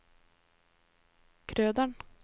Krøderen